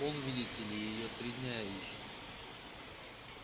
он видите ли её три дня ищет